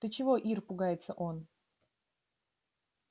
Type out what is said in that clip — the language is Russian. ты чего ир пугается он